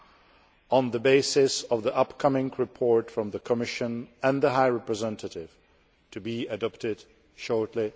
This would be done on the basis of the upcoming report from the Commission and the High Representative, to be adopted shortly.